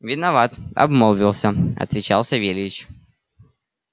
виноват обмолвился отвечал савельич